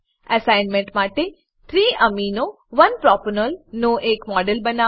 assignment માટે 3 amino 1 propanol નો એક મોડેલ બનાવો